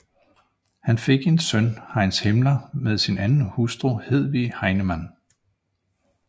Han fik en søn Heinz Hitler med sin anden hustru Hedwig Heinemann